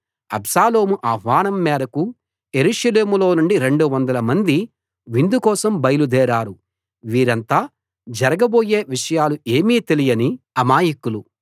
అబ్షాలోము ఆహ్వానం మేరకు యెరూషలేములో నుండి 200 మంది విందు కోసం బయలుదేరారు వీరంతా జరగబోయే విషయాలు ఏమీ తెలియని అమాయకులు